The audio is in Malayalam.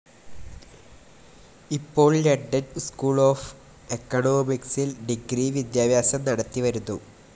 ഇപ്പോൾ ലണ്ടൻ സ്കൂൾ ഓഫ്‌ എക്കണോമിക്സിൽ ഡിഗ്രി വിദ്യാഭ്യാസം നടത്തി വരുന്നു.